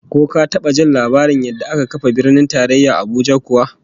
Ko ka taba jin labarin yadda aka kafa Birnin Tarayya Abuja kuwa?